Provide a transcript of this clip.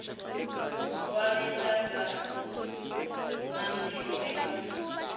wa rixaka na mpimo eka